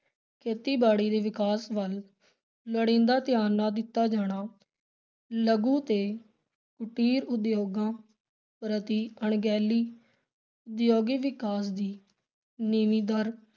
ਖੇਤੀਬਾੜੀ ਦੇ ਵਿਕਾਸ ਵਲ ਲੋੜੀਂਦਾ ਧਿਆਨ ਨਾ ਦਿੱਤਾ ਜਾਣਾ, ਲਘੂ ਤੇ ਕੁਟੀਰ ਉਦਯੋਗਾਂ ਪ੍ਰਤੀ ਅਣਗਹਿਲੀ, ਉਦਯੋਗਿਕ ਵਿਕਾਸ ਦੀ ਨੀਵੀ ਦਰ,